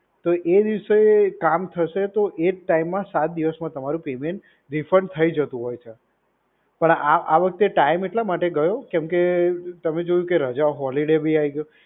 તો એ દિવસે કામ થશે તો એ જ ટાઈમમાં સાતન દિવસમાં તમારું પેમેન્ટ રિફંડ થઈ જતું હોય છે. પણ આ આ વખતે ટાઈમ એટલા માટે ગયો કેમ કે તમે જોયું કે રજા હોલીડે બી આઈ ગયો.